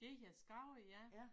Det hedder Skagen ja